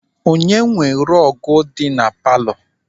Onye nwe rọọgụ dị na palọ?